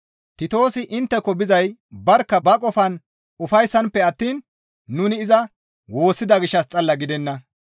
Titoosi intteko bizay barkka ba qofan ufayssanppe attiin nuni iza woossida gishshas xalla gidenna.